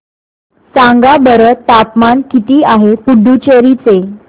सांगा बरं तापमान किती आहे पुडुचेरी चे